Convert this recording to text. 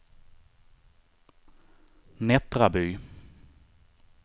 Nättraby